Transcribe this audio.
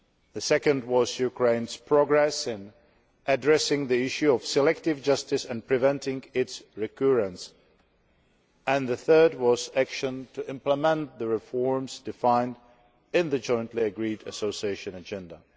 The second was Ukraine's progress in addressing the issue of selective justice and preventing its recurrence. The third was action to implement the reforms defined in the jointly agreed Association Agenda.